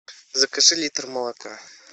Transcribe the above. закажи литр молока